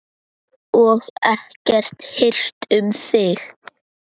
Og ekkert hirt um þig.